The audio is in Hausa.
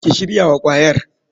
Ki shirya wa kwayar.